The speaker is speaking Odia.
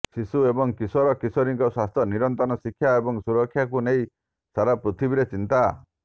ଶିଶୁ ଏବଂ କିଶୋର କିଶୋରୀଙ୍କ ସ୍ୱାସ୍ଥ୍ୟ ନିରନ୍ତର ଶିକ୍ଷା ଏବଂ ସୁରକ୍ଷାକୁ ନେଇ ସାରା ପୃଥିବୀରେ ଚିନ୍ତା